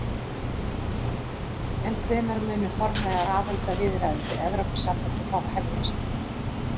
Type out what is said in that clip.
En hvenær munu formlegar aðildarviðræður við Evrópusambandið þá hefjast?